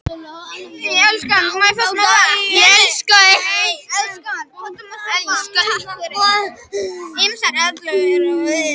Ýmsar reglur eru hins vegar til ef okkur vantar að vita lengd einhverrar hliðar.